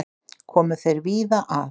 Komu þeir víða að.